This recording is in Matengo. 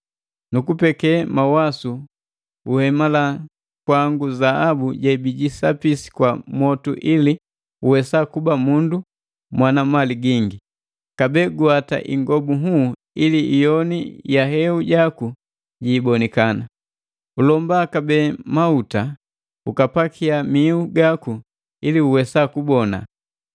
Nukupeke mawasu uhemala kwangu zaabu jebijisapisi kwa mwotu ili uwesa kuba mundu mwana mali gingi. Kabee guwata ingobu nhuu ili iyoni ya heu jaku jiibonikana. Ulomba kabee mahuta ukapakia miu gaku ili uwesa kubona.